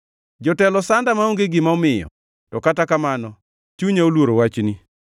Jotelo sanda maonge gima omiyo, to kata kamano chunya oluoro wachni.